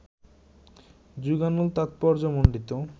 যুগানুগ তাৎপর্যমণ্ডিত